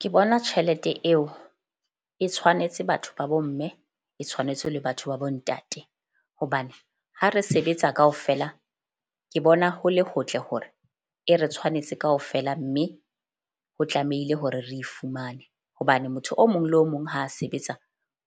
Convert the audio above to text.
Ke bona tjhelete eo e tshwanetse batho ba bo mme e tshwanetse le batho ba bo ntate. Hobane ha re sebetsa kaofela ke bona ho le hotle hore e re tshwanetse kaofela. Mme ho tlamehile hore re fumane hobane motho o mong le o mong ha sebetsa